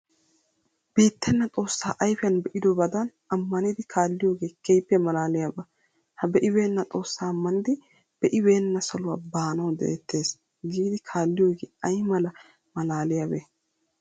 Beettenna xoossaa ayfiyan be'idobadan ammanidi kaalliyogee keehippe maalaaliyaba. Ha be'ibeenna xoossaa ammanidi be'ibeenna saluwa baanawu de'etees giidi kaalliyogee ay mala maalaaliyabee?